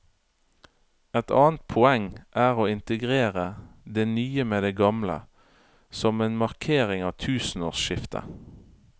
Et annet poeng er å integrere det nye med det gamle, som en markering av tusenårsskiftet.